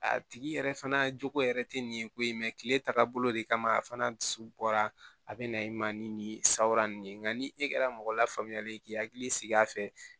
A tigi yɛrɛ fana jogo yɛrɛ tɛ nin ye ko in mɛ kile tagabolo de kama a fana dusu bɔra a be na i ma ni surawran de ye nka ni e kɛra mɔgɔ lafaamuyalen ye k'i hakili sigi a fɛ